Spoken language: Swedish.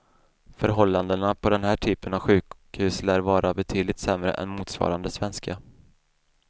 Förhållandena på den här typen av sjukhus lär vara betydligt sämre än motsvarande svenska.